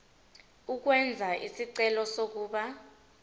ukwenza isicelo sokuba